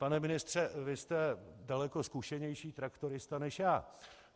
Pane ministře, vy jste daleko zkušenější traktorista než já.